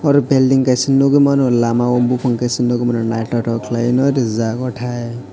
oro belding kaisa nogoi mano lama o bopang kaisa nogoi mano naitotok kelai no rijak o tai.